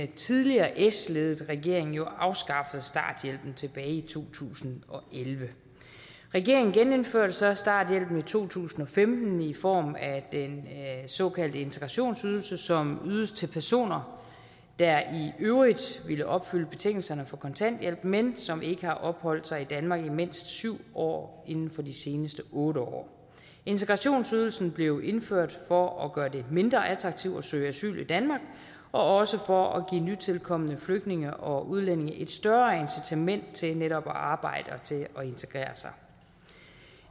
tidligere s ledede regering jo afskaffede starthjælpen tilbage i to tusind og elleve regeringen genindførte så starthjælpen i to tusind og femten i form af den såkaldte integrationsydelse som ydes til personer der i øvrigt ville opfylde betingelserne for kontanthjælp men som ikke har opholdt sig i danmark i mindst syv år inden for de seneste otte år integrationsydelsen blev indført for at gøre det mindre attraktivt at søge asyl i danmark og for at give nytilkomne flygtninge og udlændinge et større incitament til netop at arbejde og til at integrere sig